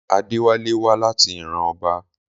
Adéwálé wá láti ìran ọba.